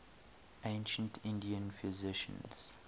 ancient indian physicians